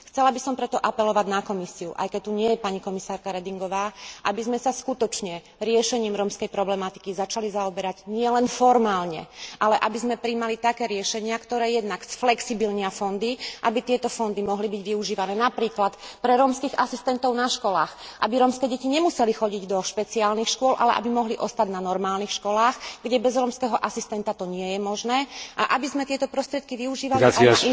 Chcela by som preto apelovať na Komisiu, aj keď tu nie je pani komisárka Redingová, aby sme sa skutočne riešením rómskej problematiky začali zaoberať nielen formálne, ale aby sme prijímali také riešenia, ktoré jednak spružnia fondy, aby tieto fondy mohli byť využívané napríklad pre rómskych asistentov na školách, aby rómske deti nemuseli chodiť do špeciálnych škôl, ale aby mohli ostať na normálnych školách, kde to bez rómskeho asistenta nie je možné, a aby sme tieto prostriedky využívali aj